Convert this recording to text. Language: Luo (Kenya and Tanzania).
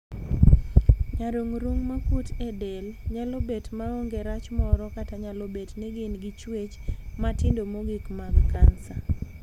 Nyarung'rung' makuot e del nyalo bet maonge rach moro kata nyalo bet ni gin gi chuech matindo mogik mag kansa.